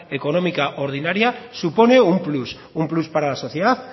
económica ordinaria supone un plus un plus para la sociedad